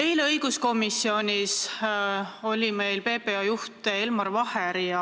Eile oli meil õiguskomisjonis PPA juht Elmar Vaher.